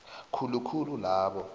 khulu khulu labo